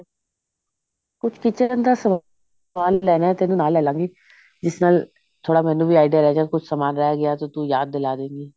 ਕੁੱਛ kitchen ਦਾ ਸਮਾਨ ਲੈਣਾ ਤੇਰੇ ਨਾਲ ਲੈ ਲਾਂਗੀ ਜਿਸ ਨਾਲ ਥੋੜਾ ਮੈਨੂੰ ਵੀ idea ਰਹਿ ਜਾਏ ਕੁੱਛ ਸਮਾਨ ਰਹਿ ਗਿਆ ਤੂੰ ਮੈਨੂੰ ਯਾਦ ਦਿਲਾ ਦੇੰਗੀ